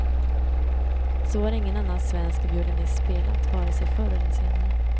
Så har ingen annan svensk violinist spelat, vare sig förr eller senare.